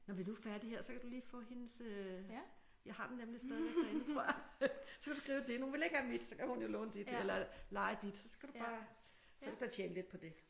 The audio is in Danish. Når vi nu er færdige her så kan du lige få hendes øh jeg har den nemlig stadigvæk derinde tror jeg så kan du skrive til hende hun vil ikke have mit så kan hun jo låne dit eller leje dit så skal du bare så kan du da tjene lidt på det